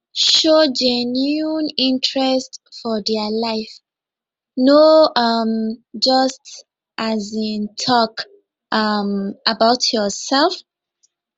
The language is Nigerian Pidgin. show genuine interest for their life no um just um talk um about yourself